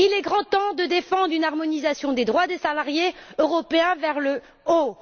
Il est grand temps de défendre une harmonisation des droits des salariés européens vers le haut.